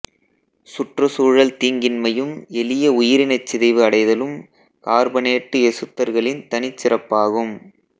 சுற்றுச்சூழல் தீங்கின்மையும் எளிய உயிரினச் சிதைவு அடைதலும் கார்பனேட்டு எசுத்தர்களின் தனிச் சிறப்பாகும்